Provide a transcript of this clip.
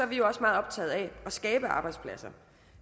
vi jo også meget optaget af at skabe arbejdspladser